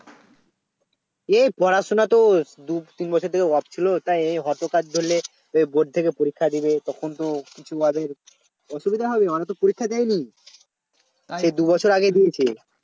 এই পড়াশোনা তো দুই তিন বছর ধরে Off ছিল তাই হঠাৎ করে ধরলে bord থেকে পরীক্ষা দেবে তখন তো কিছু ওদের অসুবিধা হবে ওরা তো পরীক্ষা দেয় নি আরে দুই বছর আগে দিয়েছে